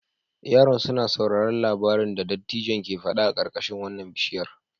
Yaran suna sauraron labarin da dattijon ke fada a karkashin wannan bishiyar.